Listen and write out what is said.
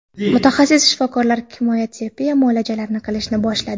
Mutaxassis shifokorlar kimyo terapiya muolajalarini qilishni boshladi.